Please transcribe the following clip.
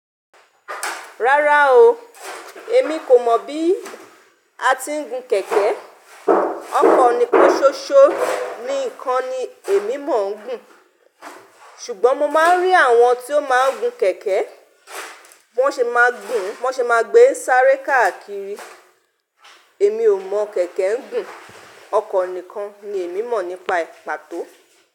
Rárá o, èmi kò mọ̀ bí a tí ń gun kẹ̀kẹ́. Ọkọ̀ nìkan ṣoṣo, níkan ni èmi maa gùn. Ṣùgbọ́n mo máa ń rí àwọn tí ó máa ń gun kẹ̀kẹ́, bí wọ́n ṣe máa ń gùn, bí wọ́n ṣe máa gbé sáré káàkiri. Èmi ò mọ̀ kẹ̀kẹ́ ń gùn. Ọkọ̀ nìkan ni èmi mọ̀ nípa ìpàtó.